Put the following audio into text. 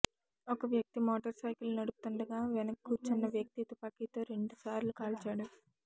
ఒక వ్యక్తి motorcycle నడుపుతుండగా వెనక కూర్చున్న వ్యక్తి తుపాకితో రెండు సార్లు కాల్చాడు